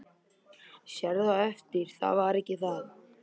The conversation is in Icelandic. Sérð á eftir það var ekki það.